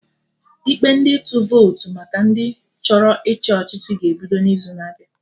Ikpe ndị ịtụ votu maka ndị chọrọ ịchị ọchịchị ga-ebido n'izu na-abịa